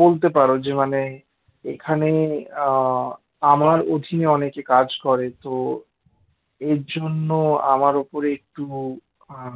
বলতে পারো যে মানে এখানে আমার অধীনে অনেকে কাজ করে তো এর জন্য আমার উপরে একটু